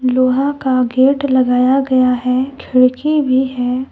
लोहा का गेट लगाया गया है खिड़की भी है।